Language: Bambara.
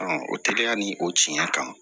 o teliya ni o tiɲɛ ye kan